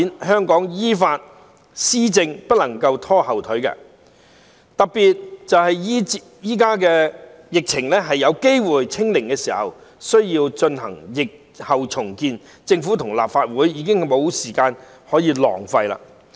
香港依法施政不能夠被拖後腿，特別現在疫情有機會"清零"時更需要進行疫後重建，政府和立法會已經無時間可以浪費了。